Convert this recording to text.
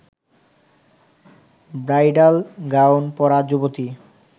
bridal gown পরা যুবতী